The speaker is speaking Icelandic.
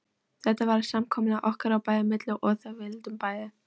Þetta var samkomulag okkar á milli, við vildum það bæði.